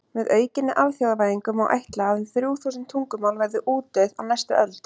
Með aukinni alþjóðavæðingu má ætla að um þrjú þúsund tungumál verði útdauð á næstu öld.